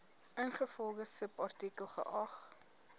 ingevolge subartikel geag